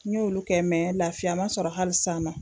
N ɲ'olu kɛ laafiya man sɔrɔ hali sisan n na.